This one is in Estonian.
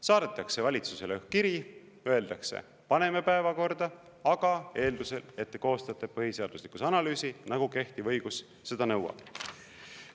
Saadetakse valitsusele kiri, öeldakse: paneme päevakorda, aga eeldusel, et koostajate põhiseaduslikkuse analüüsi, nagu kehtiv õigus seda nõuab.